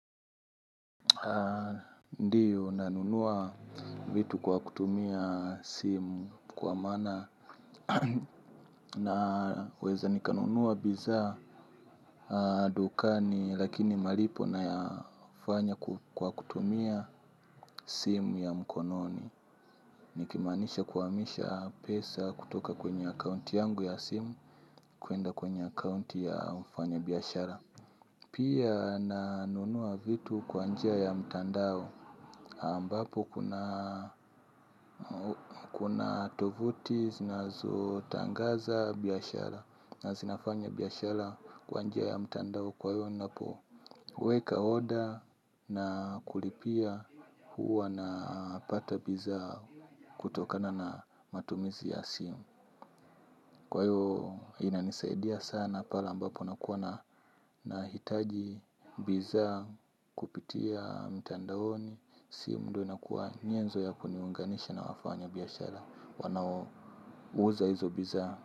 Ndiyo nanunua vitu kwa kutumia simu kwa maana naweza nikanunua bidhaa dukani lakini malipo nayafanya kwa kutumia simu ya mkononi. Nikimaanisha kuhamisha pesa kutoka kwenye akaunti yangu ya simu kwenda kwenye akaunti ya mfanya biashara. Pia nanunua vitu kwa njia ya mtandao ambapo kuna tovuti zinazo tangaza biashara na zinafanya biashara kwa njia ya mtandao kwa hiyo ninapo weka oda na kulipia huwa napata bidhaa kutokana na matumizi ya simu. Kwa hiyo inanisaidia sana pale ambapo nakuwa nahitaji bidhaa kupitia mtandaoni. Simu ndio inakuwa nyezo ya kuniunganisha na wafanya biashara. Wanao uza hizo bidhaa.